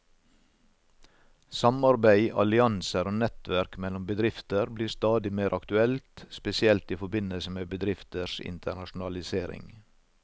Samarbeid, allianser og nettverk mellom bedrifter blir stadig mer aktuelt, spesielt i forbindelse med bedrifters internasjonalisering.